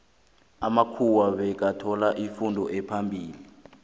amamkhuwa bekathola ifundo ephambili